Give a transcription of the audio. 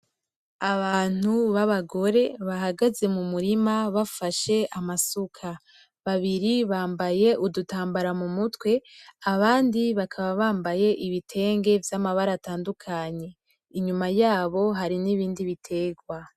Abantu b'Abagore bahagaze m'umurima bafashe amasuka, babiri bambaye udutambara mumutwe, abandi bakaba bambaye ibitenge vyamabara atandukanye inyuma yabo hari ibindi biterwa.